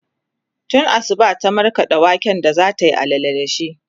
tun Asuba ta markaɗa waken da zatayi allala da shi